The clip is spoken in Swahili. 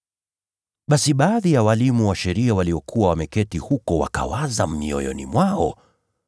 Basi baadhi ya walimu wa sheria waliokuwa wameketi huko wakawaza mioyoni mwao,